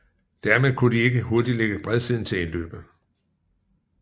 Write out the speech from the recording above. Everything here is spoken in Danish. Dermed kunne de ikke hurtigt lægge bredsiden til indløbet